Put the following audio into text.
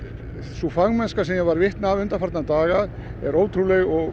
sú fagmennska sem ég var vitni að undanfarna daga er ótrúleg og